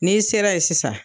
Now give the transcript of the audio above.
N'i sera ye sisan